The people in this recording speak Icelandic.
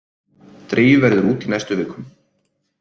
Dregið verður út í næstu vikum